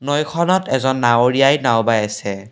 নৈখনত এজন নাওৰীয়াই নাওঁ বাই আছে।